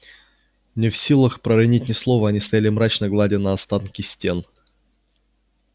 не в силах проронить ни слова они стояли мрачно гладя на остатки стен